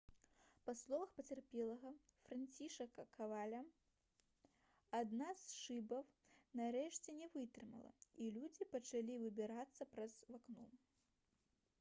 па словах пацярпелага францішака коваля «адна з шыбаў нарэшце не вытрымала і людзі пачалі выбірацца праз вакно»